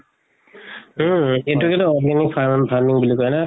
উম এইটোকেতো organic farm farming বুলি কয় না